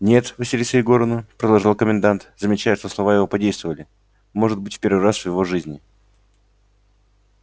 нет василиса егоровна продолжал комендант замечая что слова его подействовали может быть в первый раз в его жизни